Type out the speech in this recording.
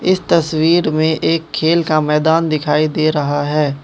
इस तस्वीर में एक खेल का मैदान दिखाई दे रहा है।